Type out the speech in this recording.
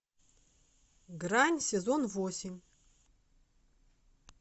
грань сезон восемь